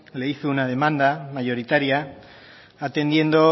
le hizo una demanda mayoritaria atendiendo